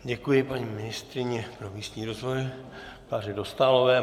Děkuji paní ministryni pro místní rozvoj Kláře Dostálové.